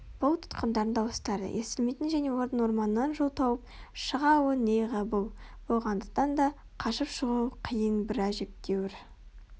бұл тұтқындардың дауыстары естілмейтін және олардың орманнан жол тауып шыға алуы нейғабыл болғандықтан да қашып шығуы қиын бір әжептәуір